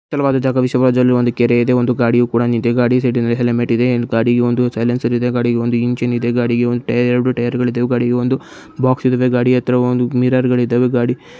ಜಾಗದಲ್ಲಿ ಒಂದು ಕೆರೆ ಇದೆ ಒಂದು ಗಾಡಿಯು ಕೂಡಾ ನಿಂತಿದೆ ಗಾಡಿ ಸೈಡ್ ಲಿ ಹೆಲ್ಮೆಟ್ ಇದೆ ಗಾಡಿಗೆ ಒಂದು ಸೈಲೆನ್ಸೆರ್ ಎದೆ ಗಾಡಿಗೆ ಒಂದು ಇಂಜಿನ್ ಇದೆ ಗಾಡಿಗೆ ಒಂದು ಒಂದು ಎರೆಡು ಟೈಯರ್ ಇದೆ ಗಾಡಿಗೆ ಒಂದು ಬಾಕ್ಸ್ ಇದೆ ಗಾಡಿ ಹತ್ರ ಒಂದು ಮಿರರ್ ಗಳು ಇದ್ದವು ಗಾಡಿಗೆ--